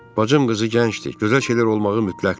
Bacım qızı gəncdir, gözəl şeylər olmağı mütləqdir.